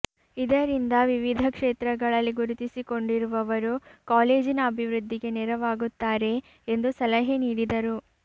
ಇದರಿಂದ ವಿವಿಧ ಕ್ಷೇತ್ರಗಳಲ್ಲಿ ಗುರುತಿಸಿಕೊಂಡಿ ರುವವರು ಕಾಲೇಜಿನ ಅಭಿವೃದ್ಧಿಗೆ ನೆರವಾಗು ತ್ತಾರೆ ಎಂದು ಸಲಹೆ ನೀಡಿದರು